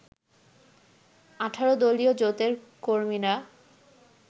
১৮ দলীয় জোটের কর্মীরা